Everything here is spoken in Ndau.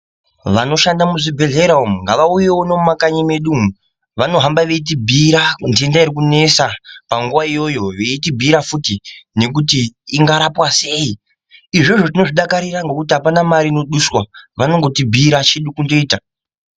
Vanoshanda mu zvibhedhleya umu ngavauyewo nemu makanyi mwedu umu vano hamba veiti bhuyira dhenda iri kunesa panguva iyoyo veiti bhiyira futi nekuti inga rapwa sei izvozvo tinozvi dakarira ngekuti apana mari ino duswa vanongoti bhiyira chedu kungoita.